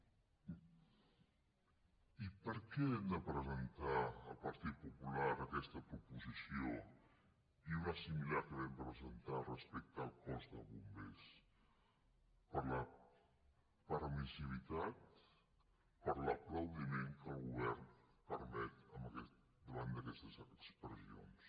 i per què hem de presentar el partit popular aquesta proposició i una de similar que vam presentar respecte al cos de bombers per la permissivitat per l’aplaudiment que el govern permet davant d’aquestes expressions